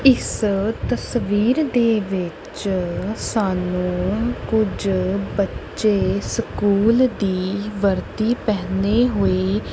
ਇਸ ਤਸਵੀਰ ਦੇ ਵਿੱਚ ਸਾਨੂੰ ਕੁਝ ਬੱਚੇ ਸਕੂਲ ਦੀ ਵਰਦੀ ਪਹਿਨੇ ਹੋਏ--